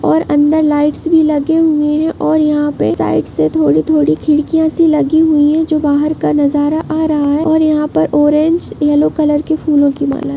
और अंदर लाइट्स भी लगे हुए हैं और यहाँ पे साइड़ से थोड़ी-थोड़ी खिड़कियाँ सी लगी हुई हैं जो बाहर का नज़ारा आ रहा हैं और यहाँ पर ऑरेंज येलो कलर की फूलों की माला है।